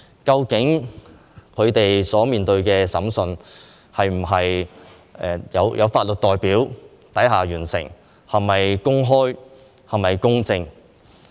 究竟他們的審訊是否在有法律代表下完成，是否公開、公正呢？